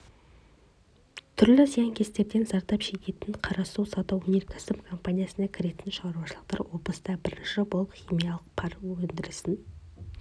түрлі зиянкестерден зардап шегетін қарасу сауда-өнеркәсіп компаниясына кіретін шаруашылықтар облыста бірінші болып химиялық пар өндірісін